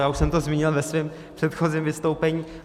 Já už jsem to zmínil ve svém předchozím vystoupení.